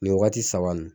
Nin wagati saba nin